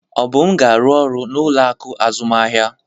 Obum ga-arụ ọrụ n'ụlọ akụ azụmahịa